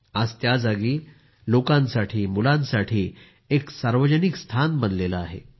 आज त्या जागी लोकांसाठी मुलांसाठी एक सार्वजनिक स्थान बनले आहे